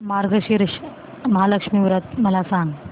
मार्गशीर्ष महालक्ष्मी व्रत मला सांग